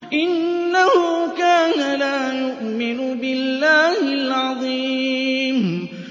إِنَّهُ كَانَ لَا يُؤْمِنُ بِاللَّهِ الْعَظِيمِ